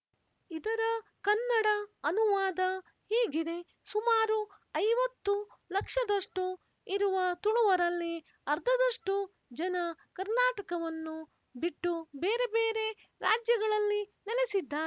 ಇದರ ಕನ್ನಡ ಅನುವಾದ ಹೀಗಿದೆಸುಮಾರು ಐವತ್ತು ಲಕ್ಷದಷ್ಟು ಇರುವ ತುಳುವರಲ್ಲಿ ಅರ್ಧದಷ್ಟು ಜನ ಕರ್ನಾಟಕವನ್ನು ಬಿಟ್ಟು ಬೇರೆ ಬೇರೆ ರಾಜ್ಯಗಳಲ್ಲಿ ನೆಲೆಸಿದ್ದ